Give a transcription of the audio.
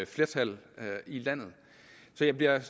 flertal her i landet så jeg